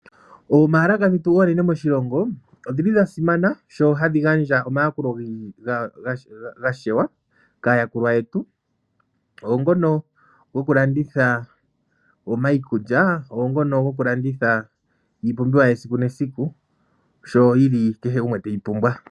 Oombaalaka dhetu oonene moshilongo odhili dhasimana sho hadhi gandja omayakulo gashewa kaayakulwa yetu, oongono gokulongitha omaikulya, oongono gokulanditha iipumbiwa yesiku nesiku, sho yili kehe gumwe teyi pumbwa.